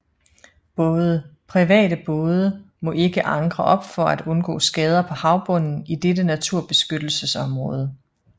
Private både må ikke ankre op for at undgå skader på havbunden i dette naturbeskyttelsesområde